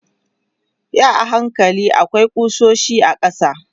yi a hankali akwai kusoshi a ƙasa